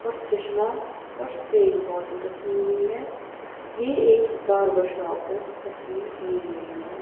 और चश्मा और स्प्रेइंग बॉटल रखी हुई है यह एक बार्बर शॉप में तस्वीर ली गई है।